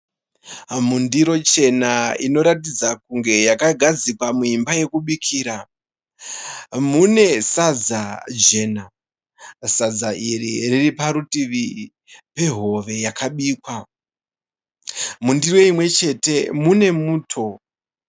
Mundiro chena inoratidza kunge yakagadzikwa muimba yekubikira mune sadza jena. Sadza iri riri padivi pehove yakabikwa .Mundiro imwechete mune muto.